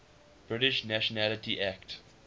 british nationality act